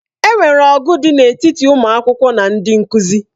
E nwere ọgụ dị n'etiti ụmụ akwụkwọ na ndị nkuzi.